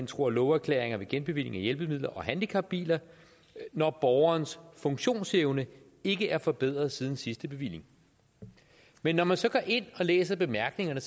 tro og love erklæringer ved genbevilling af hjælpemidler og handicapbiler når borgerens funktionsevne ikke er forbedret siden sidste bevilling men når man så går ind og læser bemærkningerne